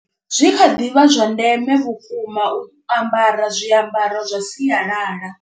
Zwi kha ḓi vha zwa ndeme vhukuma u ambara zwiambaro zwa sialala.